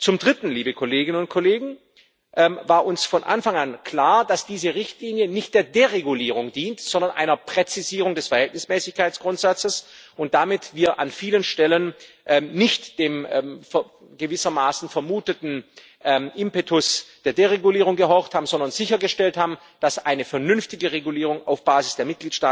Zum Dritten war uns von Anfang an klar, dass diese Richtlinie nicht der Deregulierung dient, sondern einer Präzisierung des Verhältnismäßigkeitsgrundsatzes, und wir damit an vielen Stellen nicht dem gewissermaßen vermuteten Impetus der Deregulierung gehorcht haben, sondern sichergestellt haben, dass eine vernünftige Regulierung auf Basis der